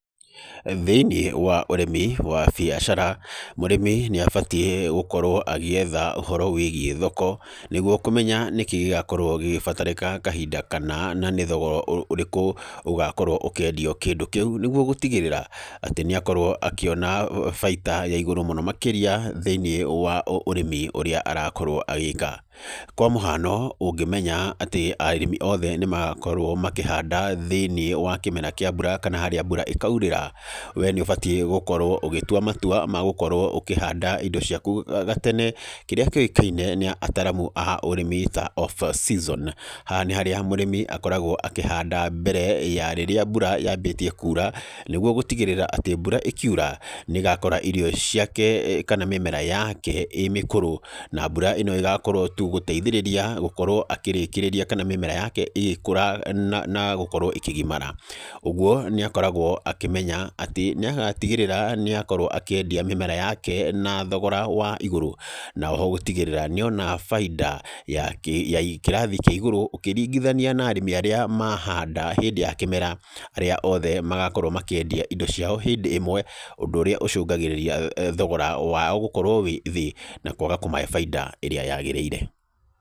Thĩiniĩ wa ũrĩmi wa biacara, mũrĩmi nĩ abatiĩ gũkorwo agĩetha ũhoro wĩgiĩ thoko, nĩguo kũmenya nĩ kĩĩ gĩgakorwo gĩgĩbatarĩka kahinda kana, na nĩ thogora ũrĩkũ ũgakorwo ũkĩendio kĩndũ kĩu. Nĩguo gũtigĩrĩra atĩ nĩ akorwo akĩona baita ya igũrũ mũno makĩria thĩiniĩ wa ũrĩmi ũrĩa arakorwo agĩĩka. Kwa mũhano, ũngĩmenya atĩ arĩmi oothe nĩ makorwo makĩhanda thĩiniĩ wa kĩmera kĩa mbura kana harĩa mbura ĩkaurĩra, we nĩ ũbatiĩ gũkorwo ũgĩtua matua ma gũkorwo ũkĩhanda indo ciaku gatene, kĩrĩa kĩũkaine nĩ aataramu aa ũrĩmi ta off season. Haha nĩ harĩa mũrĩmi akoragwo akĩhanda mbere ya rĩrĩa mbura yambĩtie kuura, nĩguo gũtigĩrĩra atĩ mbura ĩkiura, nĩ ĩgakora iriio ciake kana mĩmera yake ĩĩ mĩkũrũ. Na mbura ĩno ĩgakorwo tu gũteithĩrĩria gũkorwo akĩrĩkĩrĩria kana mĩmera yake ĩgĩkũra na gũkorwo ĩkĩgimara. Ũguo, nĩ akoragwo akĩmenya atĩ, nĩ agatigĩrĩra nĩ akorwo akĩendia mĩmera yake na thogora wa igũrũ. Na oho gũtigĩrĩra nĩ ona bainda ya ya kĩrathi kĩa igũrũ ũkĩringithania na arĩmi arĩa mahanda hĩndĩ ya kĩmera arĩa othe magakorwo makĩendia indo ciao hĩndĩ ĩmwe, ũndũ ũrĩa ũcũngagĩrĩria thogora wao gũkorwo wĩ thĩ, na kwaga kũmahe baida ĩrĩa yagĩrĩire.